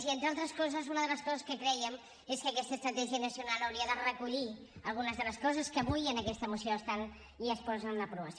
i entre altres coses una de les coses que creiem és que aquesta estratègia nacional hauria de recollir algunes de les coses que avui en aquesta moció estan i es posen en aprovació